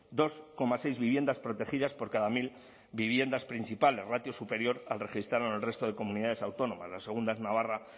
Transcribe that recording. dos coma seis viviendas protegidas por cada mil viviendas principales ratio superior al registrado en el resto de comunidades autónomas la segunda es navarra